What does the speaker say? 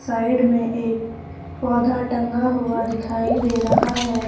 Side में एक पौधा टंगा हुआ दिखाई दे रहा है।